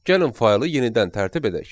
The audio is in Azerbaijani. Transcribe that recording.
Gəlin faylı yenidən tərtib edək.